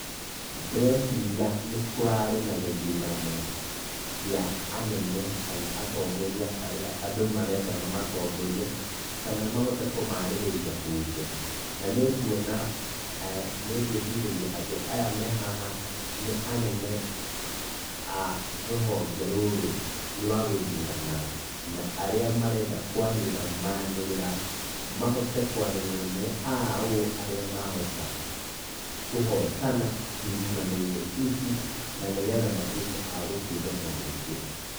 Ndĩreciria nĩkũrarĩ na gĩthurano kĩa anene, kana atongoria arĩa andũ marenda mamatongorie, kana mahote kũmarĩrĩria mbunge, na nĩnguona, na nĩngũĩcirĩrĩa aya mehaha nĩ anene a rũhonge rũrũ rwa gũthurana, na arĩa marenda kũanĩrĩra manĩrĩra, mahote kũarĩrĩra nĩ aũ arĩa mahota kũhotana ithurano-inĩ ici, na nĩgetha matuĩke a gũtungata mũingĩ.